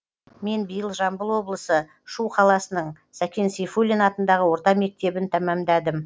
мен биыл жамбыл облысы шу қаласының сәкен сейфуллин атындағы орта мектебін тәмамдадым